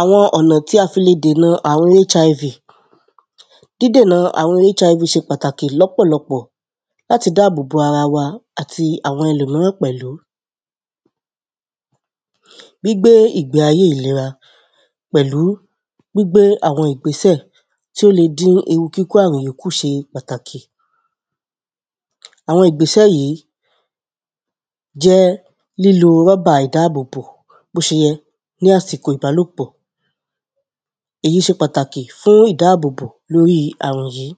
àwọn ọ̀nà tí a fi le dènà àrun HIV dídènà àrun HIV ṣe pàtàkì lọ́pọ̀lọpọ̀ láti dáàbò bo ara wa àti àwọn ẹlòmíràn pẹ̀lú gbígbé ìgbé ayé ìlera pẹ̀lú gbígbé àwọn ìgbéṣè tí ó lè dín ewu kíkó àrùn yí kù ṣe pàtàkì àwọn ìgbésẹ̀ yí jẹ́ lílo rọ́bà ìdáàbòbò bó ṣe yẹ ní àsìkò ìbálòpọ̀ èyí ṣe pàtàkì fún ìdáàbòbò lóri àrùn yí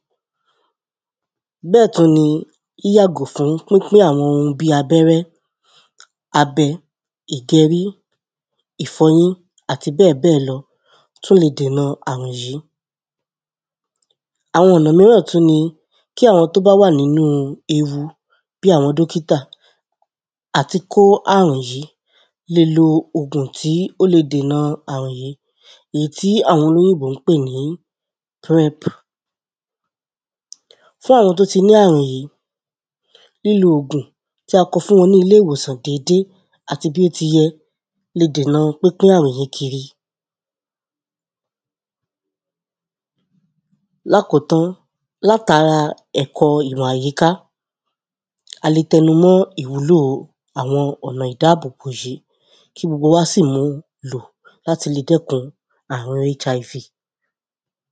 bẹ́ẹ̀ tún ni yíyàgò fún pínpín àwọn ohun bíi abẹ́rẹ́, abẹ, ìgẹrí, ìfọyín àti bẹ́ẹ̀bẹ́ẹ̀ lọ tún le dènà àrùn yí àwọn ọ̀nà míràn tún ni kí àwọn tó bá wà nínú ewu bí àwọn dókítà, àti kó àrùn yí lè lo ògùn tí ó le dènà àrùn yí èyí tí àwọn olóyìnbó ń pè ní prep fún àwọn tó ti ní àrùn yí, lílo ògùn tí a kọ fún wọn ní ilé ìwòsàn déédéé àti bí ó ti yẹ le dèna pínpín àrùn yí kiri lákòótán, látara ẹ̀kọ́ ìmọ̀ àyíká a le tẹnu mọ́ ìwúlò àwọn ọ̀nà ìdáàbòbò yí kí gbogbo wa sì mu lò láti lè dẹ́kun àrun HIV.